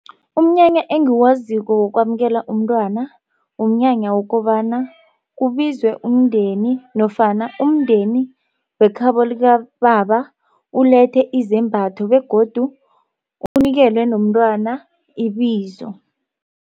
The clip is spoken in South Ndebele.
Umnyanya engiwaziko wokwamukelwa umntwana, umnyanya wokobana kubizwe umndeni, nofana umndeni wekhabo likababa ulethe izembatho, begodu unikelwe nomntwana ibizo.